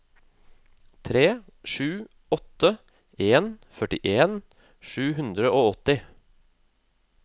tre sju åtte en førtien sju hundre og åtti